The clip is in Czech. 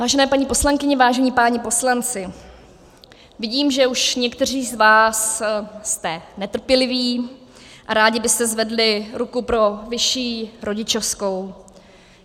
Vážené paní poslankyně, vážení páni poslanci, vidím, že už někteří z vás jste netrpěliví a rádi byste zvedli ruku pro vyšší rodičovskou.